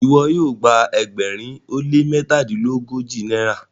iwọ yoo gba ẹgbẹrin o le mẹtadilogoji náírà?